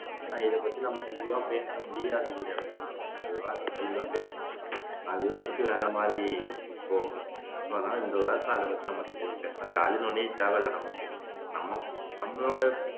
ஆனா இதப்பத்தி நம்ம தெளிவா பேச முடியாது இங்க ஒரு வார்த்தை தெளிவா பேசுனா அது வந்துட்டு வேற மாதிரி போகும் பற்றி நமக்கு தேவை ஜாதின்னு ஒன்னே தேவை இல்லை நமக்கு நம்ம நம்மளோட